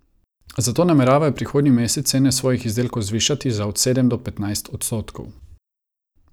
Zato nameravajo prihodnji mesec cene svojih izdelkov zvišati za od sedem do petnajst odstotkov.